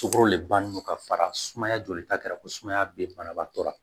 Sukoro de bannen non ka fara sumaya joli ta kɛra ko sumaya bɛ banabaatɔ la